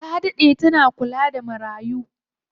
Ta daɗe ta kula da marayu.